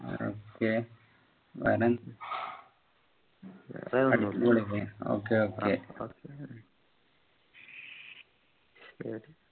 okay വേറെ ന്ത് okay okay